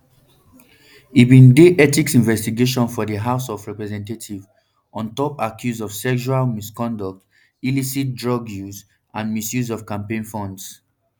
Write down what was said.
e bin dey one ethics investigation for di house of representatives on top accuse of sexual misconduct illicit drug use and misuse of campaign funds